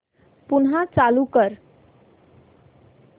पुन्हा चालू कर